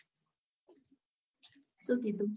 સુ કીધું?